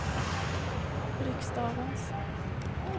riksdagens